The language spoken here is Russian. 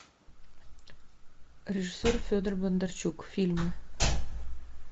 режиссер федор бондарчук фильмы